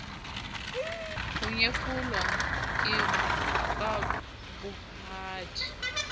ho nyefolwa ke ba bohadi